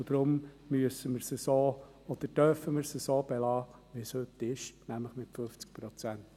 Deshalb müssen oder dürfen wir es so belassen, wie es heute ist, nämlich bei 50 Prozent.